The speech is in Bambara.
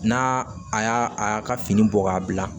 N'a a y'a ka fini bɔ k'a bila